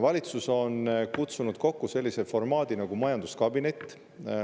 Valitsus on kutsunud kokku sellise formaadi nagu majanduskabinet.